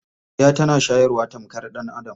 Karya tana shayarwa tamkar ɗan'adam.